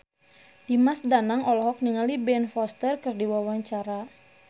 Dimas Danang olohok ningali Ben Foster keur diwawancara